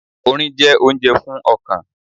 Orin jẹ́ oúnjẹ fún ọkàn.